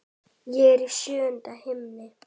Ég er í sjöunda himni.